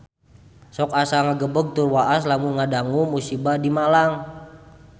Sok asa ngagebeg tur waas lamun ngadangu musibah di Malang